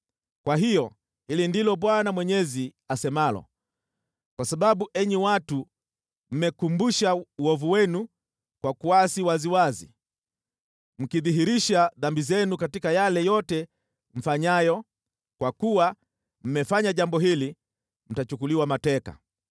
“Kwa hiyo hili ndilo Bwana Mwenyezi asemalo: ‘Kwa sababu enyi watu mmekumbusha uovu wenu kwa kuasi waziwazi, mkidhihirisha dhambi zenu katika yale yote mfanyayo, kwa kuwa mmefanya jambo hili, mtachukuliwa mateka.